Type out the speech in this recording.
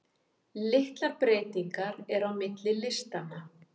Litlar breytingar eru á milli listanna.